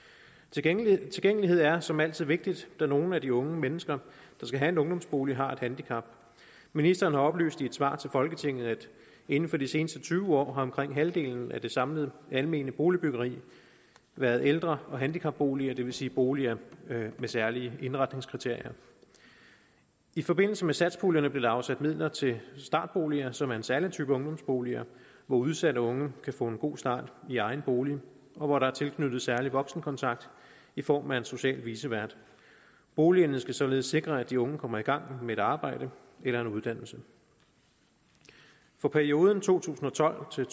tilgængelighed tilgængelighed er som altid vigtigt da nogle af de unge mennesker der skal have en ungdomsbolig har et handicap ministeren har oplyst i et svar til folketinget at inden for de seneste tyve år har omkring halvdelen af det samlede almene boligbyggeri været ældre og handicapboliger det vil sige boliger med særlige indretningskriterier i forbindelse med satspuljen blev der afsat midler til startboliger som er en særlig type ungdomsboliger hvor udsatte unge kan få en god start i egen bolig og hvor der er tilknyttet særlig voksenkontakt i form af en social vicevært boligerne skal således sikre at de unge kommer i gang med et arbejde eller en uddannelse for perioden to tusind og tolv til